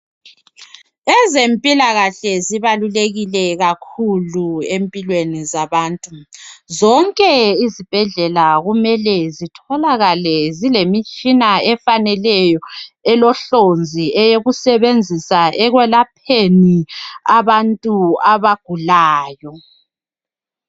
ezempilakahle zibalulekile kakhulu empilweni zabantu zonke izibhedlela kumele zitholakale zilemitshina efaneleyo elohlonzi eyokusebenzisa ekwelapheni abantu abagulayo